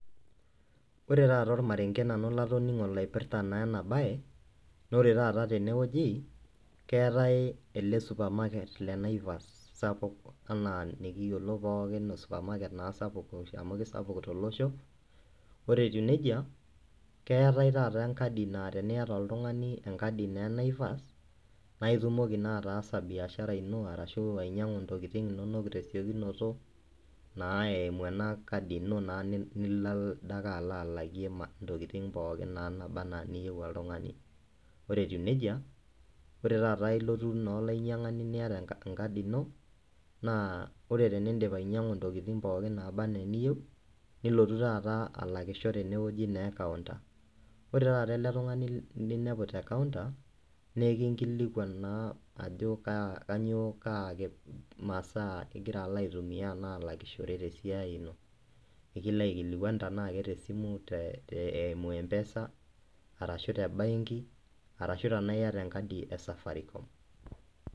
Ore taa ormarenge latoning'o nanu oipirta ena mbae na ore te wueji keetae ele supermarket lee]Naivas sapuk enikiyiolo oo supermarket sapuk amu kisapuk tele Osho ore etieu nejia keetae taata enkadi naa teniata oltung'ani enkadii naa Naivas naitumoki ataasa biashara eno ashu ainyiang'u ntokitin enono tesiokinoto naa eyimu ena kaidim ino nilo naa alakie ntokitin pookin naaba ena niyieu oltung'ani ore etieu nejia ore naa elotu olainyiangani eyata enkadi naa ore tenidip ainyiang'u ntokitin nabaa ena eniyieu nilotu alakisho tenewueji naa ekaunta ore taata ele tung'ani linepu tee kaonta naa ekinkilikuan enaa Ajo kainyio eloito alakishore tene tesidai ino nikilo aikilikuan Tena keye simu eyimu mpesa enaa tee benki arashu tenaa eyataa ee enkadii ee safaricom